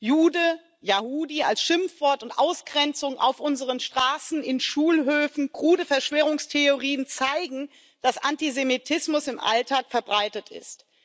Jude, Yahudi als Schimpfwort und Ausgrenzung auf unseren Straßen und in Schulhöfen sowie krude Verschwörungstheorien zeigen, dass Antisemitismus im Alltag verbreitet ist.